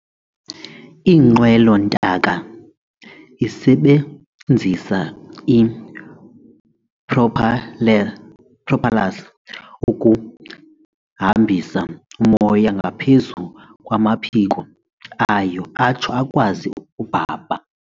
Inqwelo-ntaka isebenzisa ii-propellers ukuhambisa umoya ngaphezu kwamaphiko, ayo, atsho akwazi ukubhabha.